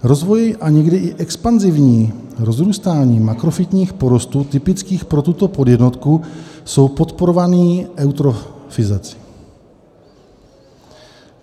Rozvoj a někdy i expanzivní rozrůstání makrofytních porostů typických pro tuto podjednotku jsou podporovány eutrofizací.